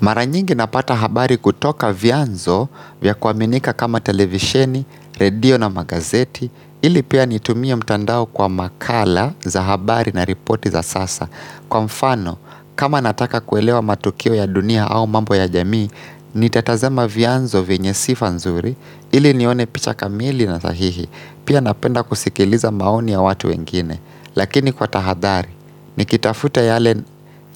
Maranyingi napata habari kutoka vyanzo vya kuaminika kama televisheni, radio na magazeti, ili pia nitumie mtandao kwa makala za habari na ripoti za sasa. Kwa mfano, kama nataka kuelewa matukio ya dunia au mambo ya jamii, nitatazama vyanzo vyenye sifa nzuri, ili nione picha kamili na sahihi, pia napenda kusikiliza maoni ya watu wengine. Lakini kwa tahadhari ni kitafuta yale